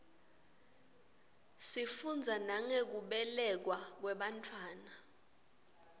sifundza nangekubelekwa kwebantfwana